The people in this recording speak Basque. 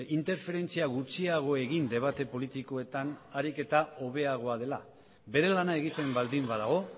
interferentzia gutxiago egin debate politikoetan ahalik eta hobeagoa dela bere lana egiten baldin badago